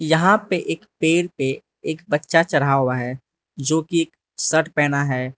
यहां पे एक पेड़ पे एक बच्चा चढ़ा हुआ है जो की शर्ट पहना है।